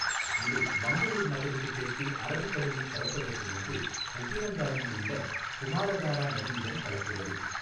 இது மங்களூர் நகருக்குத் தெற்கே அரபிக் கடலில் கலப்பதற்கு முன்பு உப்பினங்காடியில் உள்ள குமாரதாரா நதியுடன் கலக்கிறது.